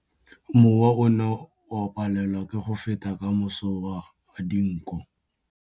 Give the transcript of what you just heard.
Mowa o ne o palelwa ke go feta ka masoba a dinko.